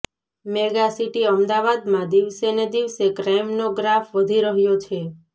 mega city અમદાવાદમાં દિવસેને દિવસે ક્રાઇમનો ગ્રાફ વધી રહ્યો છે